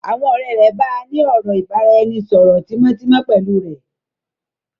Àwọn ọ̀rẹ́ rẹ̀ bàa ní ọ̀rọ̀ ìbáraẹnisọọ̀rọ̀ tímótímó pẹ́lu rẹ́.